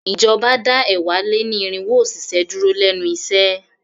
Ìjọba dá ẹ̀wá-lé-ní-irínwó òṣìṣẹ́ dúró lénu iṣẹ́.